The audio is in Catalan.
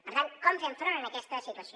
per tant com fem front a aquesta situació